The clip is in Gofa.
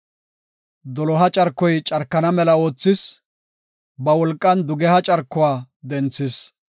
Doloha carkoy carkana mela oothis; ba wolqan dugeha carkuwa denthis.